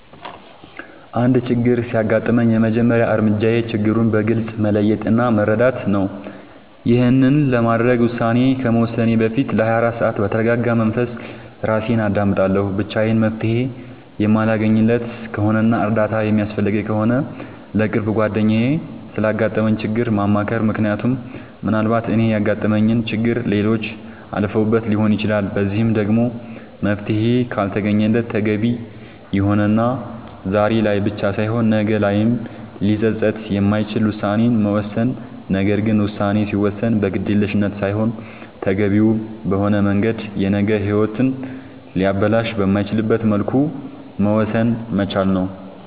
አንድ ችግር ሲያጋጥመኝ የመጀመሪያ እርምጃዬ ችግሩን በግልፅ መለየት እና መረዳት ነዉ ይሄንንም ለማድረግ ውሳኔ ከመወሰኔ በፊት ለ24 ሰዓት በተርጋጋ መንፈስ እራሴን አዳምጣለሁ ብቻዬን መፍትሄ የማለገኝለት ከሆነና እርዳታ የሚያስፈልገኝ ከሆነ ለቅርብ ጓደኛዬ ስላጋጠመኝ ችግር ማማከር ምክንያቱም ምናልባት እኔ ያጋጠመኝን ችግር ሌሎች አልፈውበት ሊሆን ይችላል በዚህም ደግሞ መፍትሄ ካልተገኘለት ተገቢ የሆነና ዛሬ ላይ ብቻ ሳይሆን ነገ ላይም ሊፀፅት የማይችል ውሳኔን መወሰን ነገር ግን ውሳኔ ሲወሰን በግዴለሽነት ሳይሆን ተገቢውን በሆነ መንገድ የነገ ሂወትን ሊያበላሽ በማይችልበት መልኩ መወሰን መቻል ነዉ